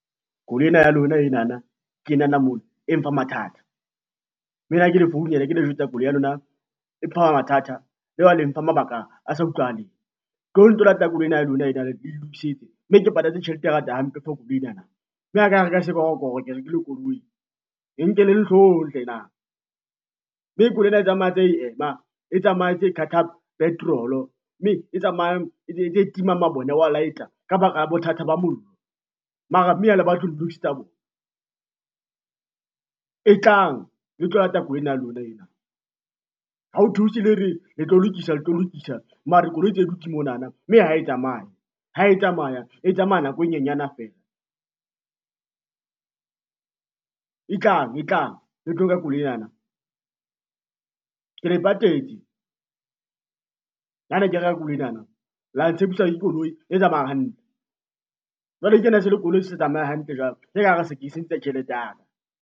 Koloi ena ya lona enana ke enana mona e mpha mathata, mme ha ke le founela ke le jwetsa koloi ya lona, e mpha mathata ya ba le mfa, mabaka a sa utlwahaleng. Tlohong le tlo lata koloi ena ya lona ena le nlokisetse mme ke patetse tjhelete e ngata hampe for koloi enana, nna ha ka reka sekorokoro ke rekile koloi, nkeleng hloohong hlena. Mme koloi ena e tsamaya e ntse ema, e tsamaya e ntse e qhaqha petrolo, mme e tsamayang e ntse e tima mabone e wa light-a ka baka la bothata ba mollo, mara mme ha le batle ho nlokisetsa bona. E tlang le tlo lata koloi ena ya lona ena, ha ho thuse lere le tlo lokisa le tlo lokisa mare koloi tse dutse monana, mme ha e tsamaya ha e tsamaya e tsamaya nako e nyenyana feela. E tlang e tlang le tlo nka koloi enana, ke le patetse ha ne ke reka koloi enana la ntshepisa ke koloi e tsamayang hantle, jwale kena se le koloi e sa tsamaye hantle jwale ke sentse tjhelete ya ka.